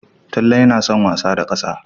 Talle yana son wasa da ƙasa.